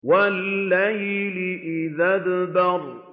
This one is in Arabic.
وَاللَّيْلِ إِذْ أَدْبَرَ